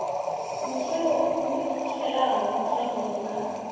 mutheli o pfulutshelaho shangoni ḽa